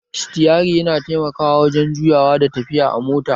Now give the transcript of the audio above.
Sitiyari yana taimakawa wurin juya da tafiya da mota